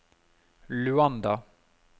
Luanda